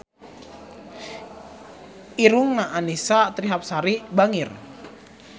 Irungna Annisa Trihapsari bangir